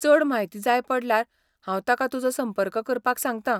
चड म्हायती जाय पडल्यार हांव ताका तुजो संपर्क करपाक सांगता.